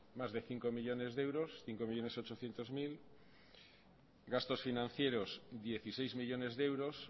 más de cinco millónes de euros cinco millónes ochocientos mil gastos financieros dieciséis millónes de euros